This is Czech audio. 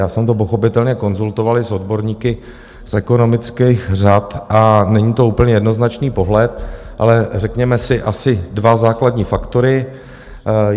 Já jsem to pochopitelně konzultovali s odborníky z ekonomických řad a není to úplně jednoznačný pohled, ale řekněme si asi dva základní faktory.